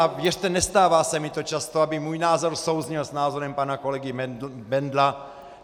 A věřte, nestává se mi to často, aby můj názor souzněl s návrhem pana kolegy Bendla.